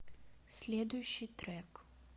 следующий трек